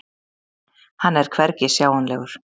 Hann er hvergi sjáanlegur.